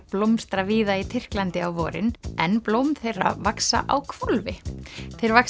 blómstra víða í Tyrklandi á vorin en blóm þeirra vaxa á hvolfi þeir vaxa